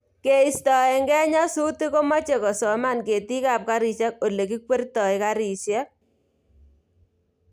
Keistoekei nyasutik komoche kosoman ketikab garisiek Ole kikweritoi garisiek